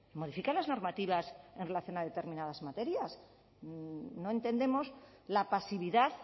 modifica las normativas en relación a determinadas materias no entendemos la pasividad